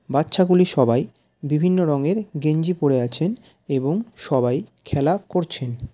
বাচ্চা গুলি সবাই বিভিন্ন রঙের গেঞ্জি পরে আছেন এবং সবাই খেলা করছেন।